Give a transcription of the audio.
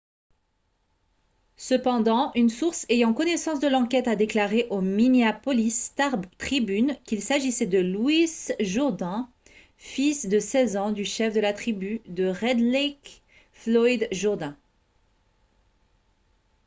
cependant une source ayant connaissance de l'enquête a déclaré au minneapolis star-tribune qu'il s'agissait de louis jourdain fils de 16 ans du chef de la tribu de red lake floyd jourdain